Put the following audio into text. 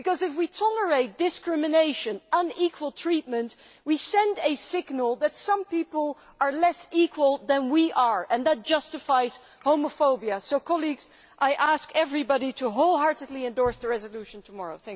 If we tolerate discrimination and unequal treatment, we send a signal that some people are less equal than we are, and that justifies homophobia. So, colleagues, I ask everybody to wholeheartedly endorse the resolution tomorrow.